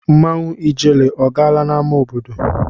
Mmanwụ ijele a gaala n'amá obodo?